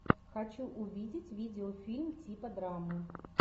хочу увидеть видеофильм типа драмы